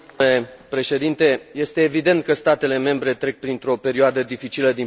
Este evident că statele membre trec printr o perioadă dificilă din punct de vedere bugetar.